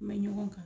Mɛ ɲɔgɔn kan